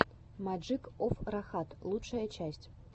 маджик оф рахат лучшая часть